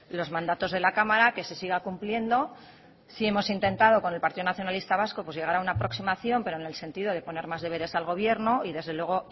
los mandatos de la cámara que se siga cumpliendo sí hemos intentado con el partido nacionalista vasco llegar a una aproximación pero en el sentido de poner más deberes al gobierno y desde luego